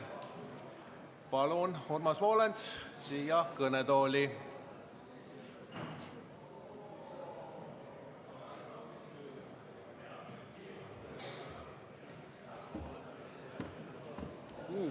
Palun, Urmas Volens, siia kõnetooli!